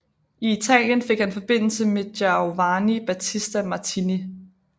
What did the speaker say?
I Italien fik han forbindelse med Giovanni Battista Martini